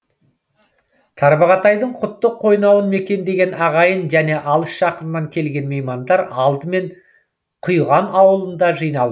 тарбағатайдың құтты қойнауын мекендеген ағайын және алыс жақыннан келген меймандар алдымен құйған ауылында жиналды